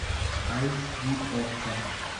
айс ди окко